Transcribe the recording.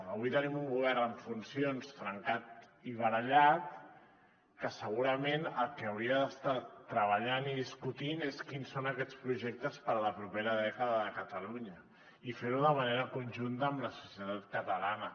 avui tenim un govern en funcions trencat i barallat que segurament el que hauria d’estar treballant i discutint és quins són aquests projectes per a la propera dècada de catalunya i fer ho de manera conjunta amb la societat catalana